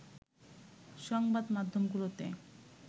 সংবাদ মাধ্যমগুলোতে